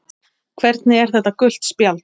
Hvernig er þetta gult spjald?